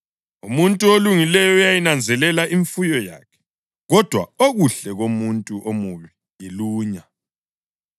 Umuntu olungileyo uyayinanzelela imfuyo yakhe kodwa okuhle komuntu omubi yilunya.